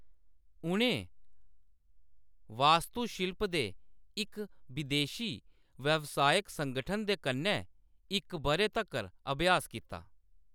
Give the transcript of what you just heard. उʼनें वास्तुशिल्प दे इक बिदेशी व्यावसायक संगठन दे कन्नै इक बʼरे तक्कर अभ्यास कीता।